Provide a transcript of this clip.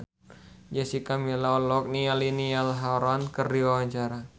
Jessica Milla olohok ningali Niall Horran keur diwawancara